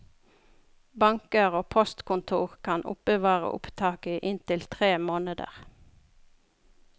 Banker og postkontor kan oppbevare opptak i inntil tre måneder.